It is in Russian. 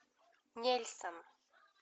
нельсон